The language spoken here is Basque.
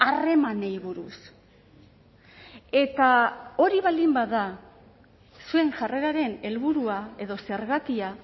harremanei buruz eta hori baldin bada zuen jarreraren helburua edo zergatia